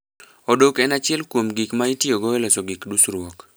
Odok en achiel kuom gik ma itiyogo e loso gik dusruok